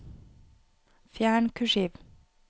Fjern kursiv